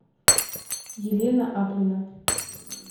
елена аплина